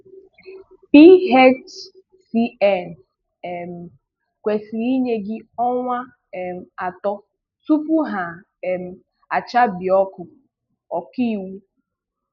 PHCN um kwesịrị inye gị ọnwa um atọ tupu ha um achabie ọkụ - Ọkaiwu